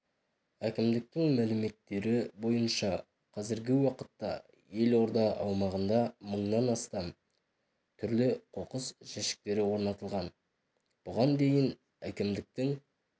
әкімдіктің мәліметтері бойынша қазіргі уақытта елорда аумағында мыңнан астам түрлі қоқыс жәшіктері орнатылған бұған дейін әкімдіктің